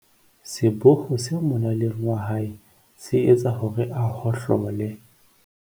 seboho se molaleng wa hae se etsa hore a hohlole